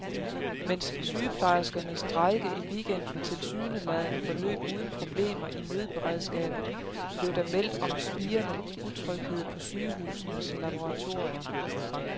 Mens sygeplejerskernes strejke i weekenden tilsyneladende forløb uden problemer i nødberedskabet, blev der meldt om spirende utryghed på sygehusenes laboratorier.